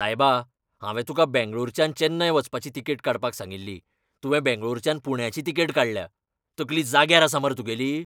सायबा! हांवें तुका बेंगळूरच्यान चेन्नय वचपाची तिकेट काडपाक सांगिल्ली, तुवें बेंगळूरच्यान पुण्याची तिकेट काडल्या. तकली जाग्यार आसा मरे तुगेली?